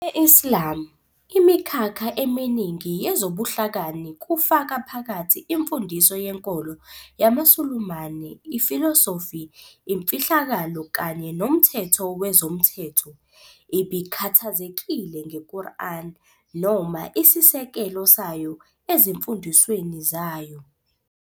E-Islam, imikhakha eminingi yezobuhlakani, kufaka phakathi imfundiso yenkolo yamaSulumane, ifilosofi, imfihlakalo kanye nomthetho wezomthetho, ibikhathazekile ngeQuran noma isisekelo sayo ezimfundisweni zayo.